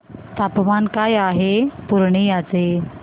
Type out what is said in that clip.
तापमान काय आहे पूर्णिया चे